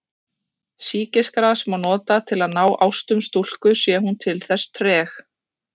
Sýkisgras má nota til að ná ástum stúlku sé hún til þess treg.